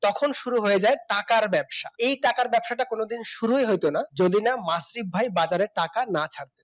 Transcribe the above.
তখন শুরু হয়ে যায় টাকার ব্যবসা এই টাকার ব্যবসাটা কোনদিন শুরুই হত না যদি না মাসুদ ভাই বাজারে টাকা না ছাড়তো